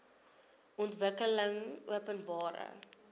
ontwikkelingopenbare